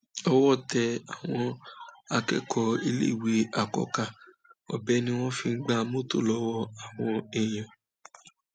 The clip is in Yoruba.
owó tẹ àwọn akẹkọọ iléèwé àkọkà ọbẹ ni wọn fi ń gba mọtò lọwọ àwọn èèyàn